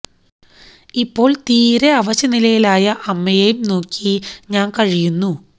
ഇപ്പോൾ തീരെ അവശ നിലയിലായ അമ്മയേയും നോക്കി ഞാൻ കഴിയുന്നു